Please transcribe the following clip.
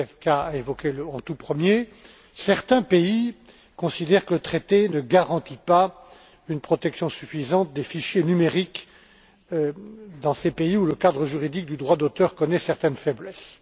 Zwiefka a évoqué en tout premier certains pays considèrent que le traité ne garantit pas une protection suffisante des fichiers numériques dans les pays où le cadre juridique du droit d'auteur connaît certaines faiblesses.